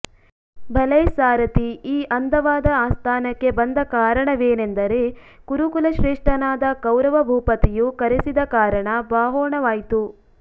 ಭಲೈ ಸಾರಥಿ ಯೀ ಅಂದವಾದ ಆಸ್ಥಾನಕ್ಕೆ ಬಂದ ಕಾರಣವೇನೆಂದರೆ ಕುರುಕುಲ ಶ್ರೇಷ್ಟನಾದ ಕೌರವ ಭೂಪತಿಯು ಕರೆಸಿದ ಕಾರಣ ಬಾಹೋಣವಾಯ್ತು